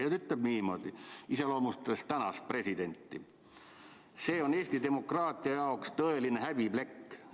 Ja ta ütles niimoodi, iseloomustades tänast presidenti: "See on Eesti demokraatia jaoks tõeline häbiplekk.